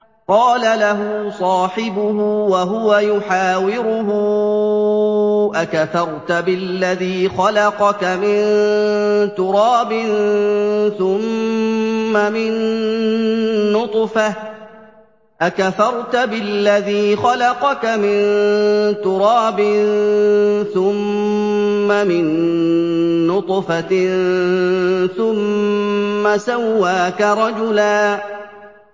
قَالَ لَهُ صَاحِبُهُ وَهُوَ يُحَاوِرُهُ أَكَفَرْتَ بِالَّذِي خَلَقَكَ مِن تُرَابٍ ثُمَّ مِن نُّطْفَةٍ ثُمَّ سَوَّاكَ رَجُلًا